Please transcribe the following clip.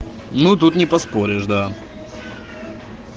ну тут не поспоришь да